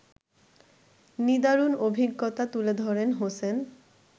নিদারুন অভিজ্ঞতা তুলে ধরেন হোসেন